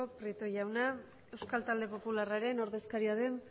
prieto jauna eusko talde popularraren ordezkaria den